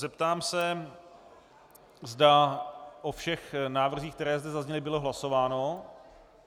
Zeptám se, zda o všech návrzích, které zde zazněly, bylo hlasováno.